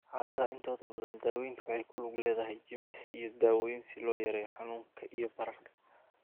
Xaaladaha intooda badan, daaweyntu waxay ku lug leedahay jimicsi iyo daawooyin si loo yareeyo xanuunka iyo bararka.